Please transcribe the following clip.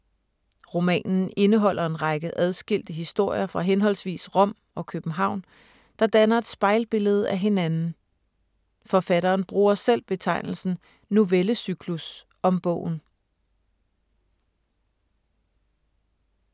Romanen indeholder en række adskilte historier fra henholdsvis Rom og København, der danner et spejlbillede af hinanden. Forfatteren bruger selv betegnelsen novellecyklus om bogen.